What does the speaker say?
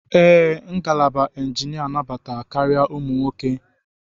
Ee, ngalaba injinia nabata karị ụmụ akwụkwọ nwoke.